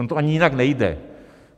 Ono to ani jinak nejde.